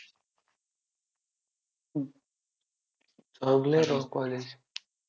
चांगलं आहे राव college